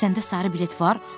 Səndə sarı bilet var?